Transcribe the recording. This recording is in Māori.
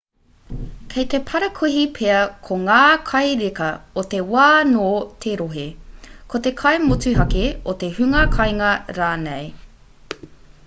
kei te parakuihi pea ko ngā kai reka o te wā nō te rohe ko te kai motuhake o te hunga kāinga rānei